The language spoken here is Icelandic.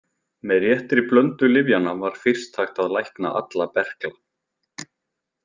Með réttri blöndu lyfjanna var fyrst hægt að lækna alla berkla.